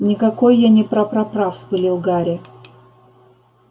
никакой я не прапрапра вспылил гарри